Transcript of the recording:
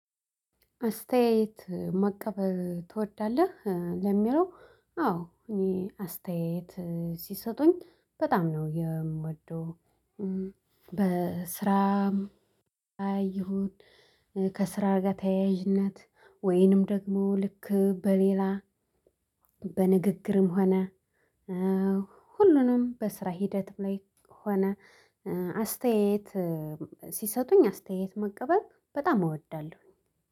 አስተያየት መቀበል ትወዳለህ? ለሚለው አዎ እኔ አስተያየት ሲሰጡኝ በጣም ነው የምወደው። በስራም አይሁን ከስራ ጋር ተያያዥነት ወይንም ደግሞ ልክ በሌላ በንግግርም ሆነ። ሁሉንም በስራ ሂደትም ላይ ሆነ አስተያየት ሲሰጡኝ አስተያየት መቀበል በጣም እወዳለሁኝ